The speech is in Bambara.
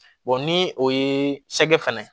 ni o ye sɛgɛ fana